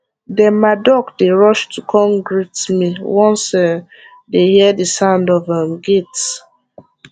dem ma duck dey rush to kon great me once um dey hear the sound of um gate